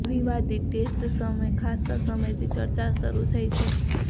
આ વિવાદિત ટેસ્ટ સામે ખાસ્સા સમયથી ચર્ચા શરુ થઈ છે